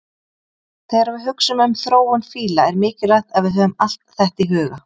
Þegar við hugsum um þróun fíla er mikilvægt að við höfum allt þetta í huga.